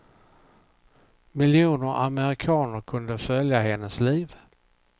Miljoner amerikaner kunde följa hennes liv.